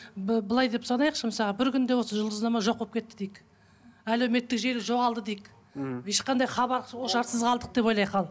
былай деп санайықшы мысалға бір күнде осы жұлдызнама жоқ болып кетті дейік әлеуметтік желі жоғалды дейік мхм ешқандай хабар ошарсыз қалдық деп ойлайық ал